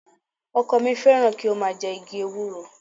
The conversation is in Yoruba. Ọkọ mi fẹ́ràn kí ó máa jẹ igi ewúro